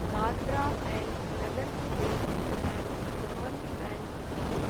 Dadra and Nagar Haveli and Daman and Diu